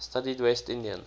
studied west indian